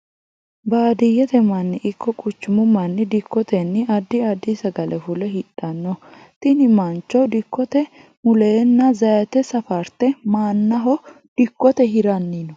Baadiyete manni iko quchumu manni dikotenni addi addi sagale fule hidhano tinni mancho dikote buleenna zayite safarte mannaho dikote hiranni no.